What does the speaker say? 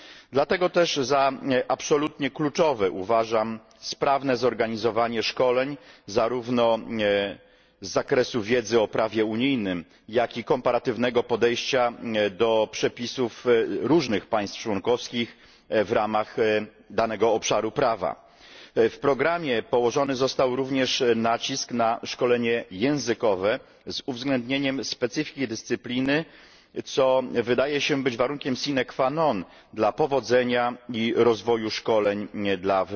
Dlatego też za absolutnie kluczowe uważam sprawne zorganizowanie szkoleń zarówno z zakresu wiedzy o prawie unijnym, jak i komparatywnego podejścia do przepisów różnych państw członkowskich w ramach danego obszaru prawa. W programie położony został również nacisk na szkolenie językowe z uwzględnieniem specyfiki dyscypliny, co wydaje się być warunkiem sine qua non dla powodzenia i rozwoju szkoleń dla